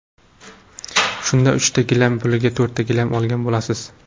Shunda uchta gilam puliga to‘rtta gilam olgan bo‘lasiz.